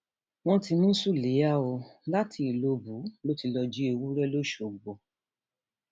wọn ti mú sùláyà o láti ìlọbù ló ti lọọ jí ewúrẹ lọsọgbò